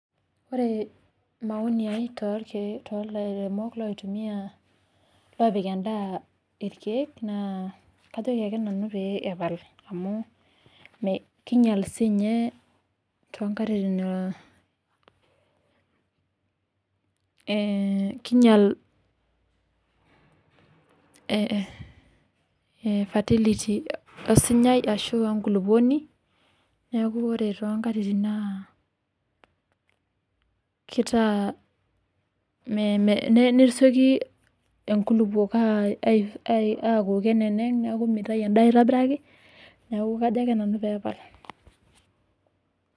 Ore maoni ai too lairemok oopik endaa irkeek naa kajoki ake nanu pee epal, amuu kinyial sii ninye too nkatitin fertility enkulupuoni, nesioki nkulupuok aneneng'u neeku meitayu endaa aaitobiraki, neeku kajo ake nanu pee epal.